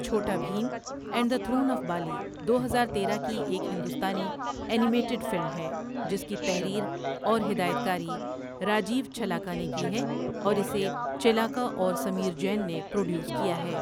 چھوٹا Bheem and the Throne of Bali دو ہزار تیرہ کی ایک ہندوستانی اینی میٹڈ فلم ہے جس کی تحریر اور ہدایت کاری راجیو چھلاکا نے کی ہے اور اسے چیلاکا اور سمیر جین نے پروڈیوس کیا ہے۔